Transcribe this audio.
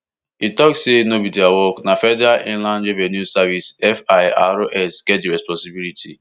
e tok say no be dia work na federal inland revenue service firs get di responsibility